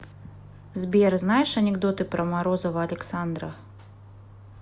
сбер знаешь анекдоты про морозова александра